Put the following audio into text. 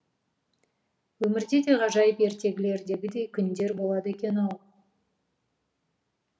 өмірде де ғажайып ертегілердегідей күндер болады екен ау